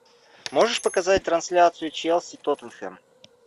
можешь показать трансляцию челси тоттенхэм